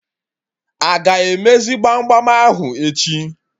Aga emezi gbam gbam ahụ echi?